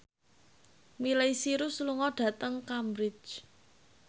Miley Cyrus lunga dhateng Cambridge